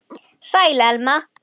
Sæl, Elma.